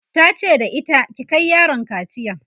tace da ita "ki Kai yaron kaciya!'